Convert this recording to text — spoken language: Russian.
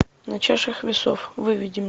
на чашах весов выведи мне